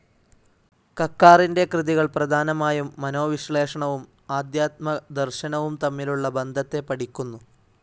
കക്കാറിൻ്റെ കൃതികൾ പ്രധാനമായും മനോവിശ്ലേഷണവും ആദ്ധ്യാത്മദർശനവും തമ്മിലുള്ള ബന്ധത്തെ പഠിക്കുന്നു.